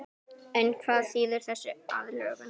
En hvað þýðir þessi aðlögun?